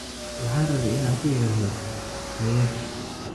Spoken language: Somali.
Waxaan rabay in aan ku idhaahdo haye